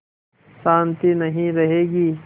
शान्ति नहीं रहेगी